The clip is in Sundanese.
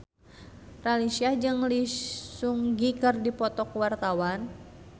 Raline Shah jeung Lee Seung Gi keur dipoto ku wartawan